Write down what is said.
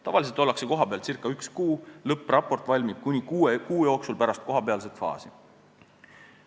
Tavaliselt ollakse kohapeal ca üks kuu, lõppraport valmib kuni kuue kuu jooksul pärast kohapealset faasi.